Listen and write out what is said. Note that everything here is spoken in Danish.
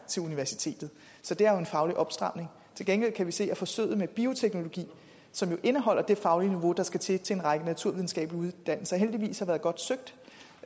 til universitetet så det er jo en faglig opstramning til gengæld kan vi se at forsøget med bioteknologi som jo indeholder det faglige niveau der skal til til en række naturvidenskabelige uddannelser heldigvis har været godt søgt